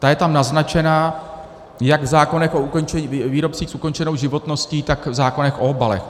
Ta je tam naznačena jak v zákonech o výrobcích s ukončenou životností, tak v zákonech o obalech.